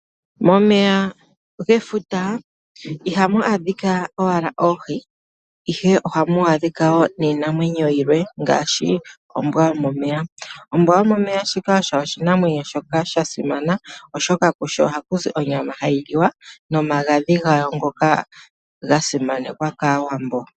Momeya gefuta ihamu adhika owala oohi, ihe ohamu adhika wo niinamwenyo yilwe ngaashi ombwa yomomeya. Ombwa yomomeya shika osho oshinamwenyo shoka sha simana oshoka kusho ohaku zi onyama hayi liwa nomagadhi gawo ngoka ga simanekwa kaAwambo.